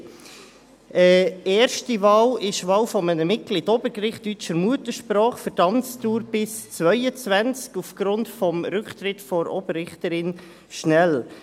Die erste Wahl ist die Wahl eines Mitglieds für das Obergericht deutscher Muttersprache für die Amtsdauer bis 2022 aufgrund des Rücktritts von Oberrichterin Schnell.